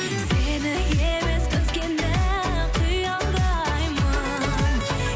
сені емес өзгені қиялдаймын